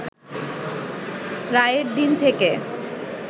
রায়ের দিন থেকে